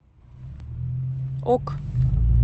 ок